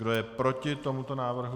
Kdo je proti tomuto návrhu?